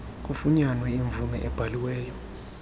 kufunyanwe imvume ebhaliweyo